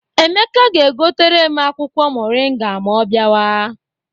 Emeka ga-egotere m akwụkwọ moringa ma ọ bịawa.